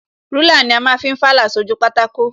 Rúlà ni a ma ń fi fàlà sójú pátákó